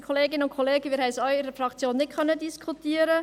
Wir konnten es in der Fraktion auch nicht diskutieren.